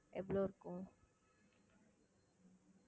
எவ்வளவு இருக்கும்